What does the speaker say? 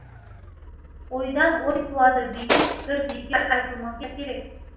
ойдан ой туады деген пікір бекер айтылмаса керек